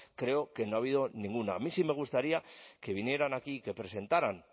creo que no ha habido ninguna a mí sí me gustaría que vinieran aquí que presentaran